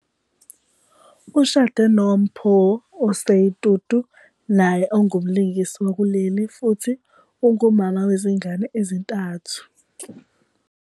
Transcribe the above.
Ushade noMpho Osei Tutu, naye ongumlingisi wakuleli futhi ungumama wezingane ezintathu.